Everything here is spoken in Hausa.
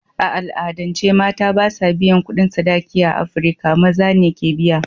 A al'adance, mata ba sa biyan kudin sadaki a Afirka; Maza ne ke biya.